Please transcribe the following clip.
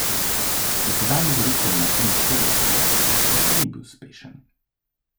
Dosedanji direktor Martin Šolar na razpisu ni bil uspešen.